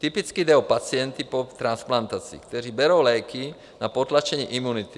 Typicky jde o pacienty po transplantaci, kteří berou léky na potlačení imunity.